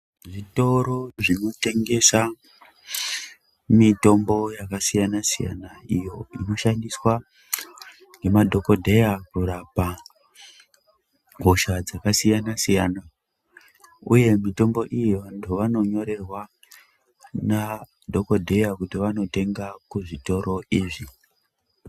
Zvitoro zvinotengesa mitombo yakasiyana siyana iyo inoshandiswa nemadhokodheya kurapa hosha dzakasiyana siyana uye mitombo iyi vanhu vanonyorerwa nadhokodheya kuti vanotenga kuzvitoro izvi.